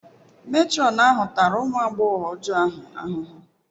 Matron ahụ tara ụmụ agbọghọ ọjọọ ahụ ahụhụ.